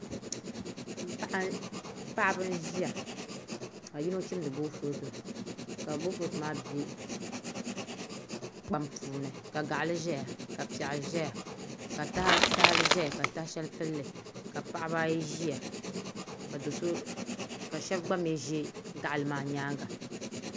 Paɣaba n ʒiya ka yino chimdi boofurooto ka boofurooto maa bɛ kpam puuni ka gaɣali ʒɛya ka piɛɣu ʒɛya ka tahali ʒɛya ka taha shɛli pilli ka paɣaba ayi ʒiya ka shab gba mii ʒɛ gaɣali maa nyaanga